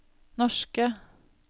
norske